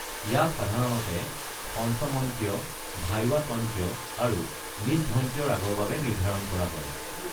ইয়াক সাধাৰণতে পঞ্চমন্ত্য, ধাইৱতন্ত্য আৰু নিষধন্ত্য ৰাগৰ বাবে নিৰ্ধাৰণ কৰা হয়।